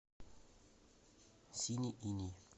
синий иней